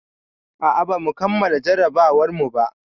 A'a, bamu kammala jarrabawarmu ba.